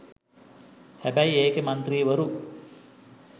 හැබැයි ඒකෙ මන්ත්‍රීවරු